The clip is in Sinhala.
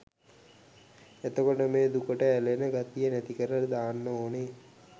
එතකොට මේ දුකට ඇලෙන ගතිය නැතිකරල දාන්න ඕනෙ